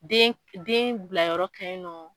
Den den bilayɔrɔ ka ɲi nɔ.